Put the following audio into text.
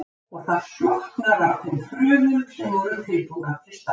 Og það slokknar á þeim frumum sem voru tilbúnar til starfa.